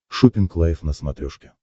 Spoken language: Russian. шоппинг лайв на смотрешке